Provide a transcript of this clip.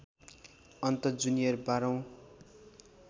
अन्त जूनियर १२ औँ